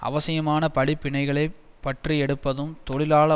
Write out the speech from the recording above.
அவசியமான படிப்பினைகளை பற்றியெடுப்பதும் தொழிலாள